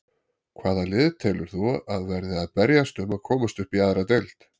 Hvaða lið telur þú að verði að berjast um að komast upp í aðra deild?